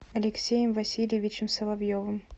алексеем васильевичем соловьевым